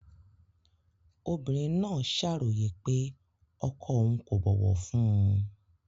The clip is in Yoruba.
Obìnrin náà ṣàròyé pé ọkọ òun kò bọ̀wọ̀ fún un